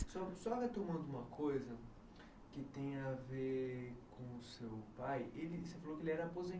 Só retomando uma coisa que tem a ver com o seu pai